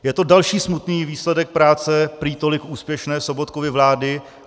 Je to další smutný výsledek práce prý tolik úspěšné Sobotkovy vlády.